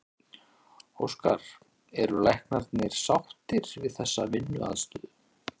Óskar, eru læknarnir sáttir við þessa vinnuaðstöðu?